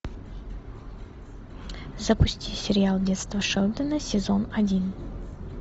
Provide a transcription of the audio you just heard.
запусти сериал детство шелдона сезон один